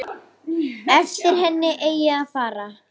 Eftir henni eigi að fara.